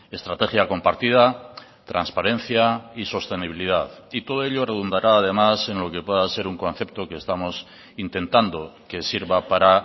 estrategia compartida transparencia y sostenibilidad y todo ello redundará además en lo que pueda ser un concepto que estamos intentando que sirva para